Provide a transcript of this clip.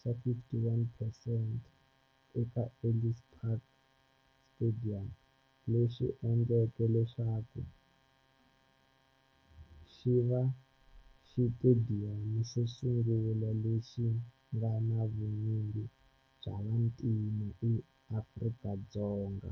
xa 51 percent eka Ellis Park Stadium, leswi endleke leswaku xiva xitediyamu xosungula lexi nga na vunyingi bya vantima eAfrika-Dzonga.